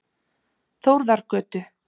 Þórðargötu